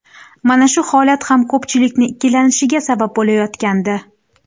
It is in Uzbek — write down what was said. Mana shu holat ham ko‘pchilikni ikkilanishiga sabab bo‘layotgandi.